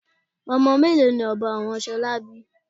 Ọmọ mélòó ni ọbọ àwọn ṣolá bí?